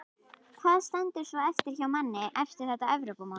Hvað stendur svo eftir hjá manni eftir þetta Evrópumót?